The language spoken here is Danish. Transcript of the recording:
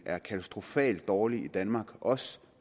er katastrofalt dårlig i danmark også